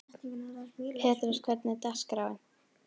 Petrós, hvernig er dagskráin?